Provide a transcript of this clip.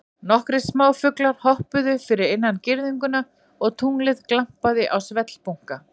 Nokkrir smáfuglar hoppuðu fyrir innan girðinguna og tunglið glampaði á svellbunka.